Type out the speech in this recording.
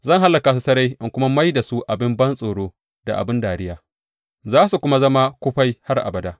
Zan hallaka su sarai in kuma mai da su abin bantsoro da abin dariya, za su kuma zama kufai har abada.